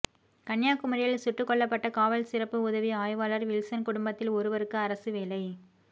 கன்னியாகுமரியில் சுட்டுக் கொல்லப்பட்ட காவல் சிறப்பு உதவி ஆய்வாளர் வில்சன் குடும்பத்தில் ஒருவருக்கு அரசு வேலை